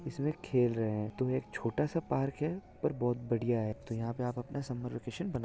इसमें खेल रहे हैं तो ये एक छोटा सा पार्क है और बहुत बढ़िया है तो यहा पे आप अपना समर वैकैशन बना--